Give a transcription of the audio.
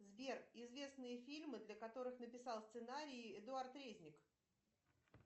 сбер известные фильмы для которых написал сценарий эдуард резник